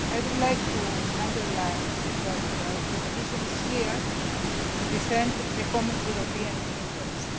I would like to underline that the Commission is here to defend the common European interest.